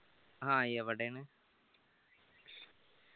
ആ യെവിടെന്ന്